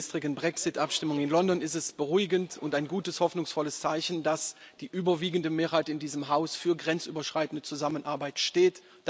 Nach der gestrigen Brexit Abstimmung in London ist es beruhigend und ein gutes hoffnungsvolles Zeichen, dass die überwiegende Mehrheit in diesem Haus für grenzüberschreitende Zusammenarbeit steht.